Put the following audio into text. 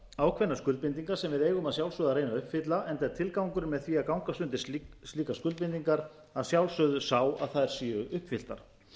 ákveðnar skuldbindingar sem við eigum að sjálfsögðu að reyna að uppfylla enda er tilgangurinn með því að gangast undir slíkar skuldbindingar að sjálfsögðu sá að þær séu uppfylltar